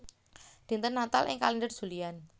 Dinten Natal ing kalèndher Julian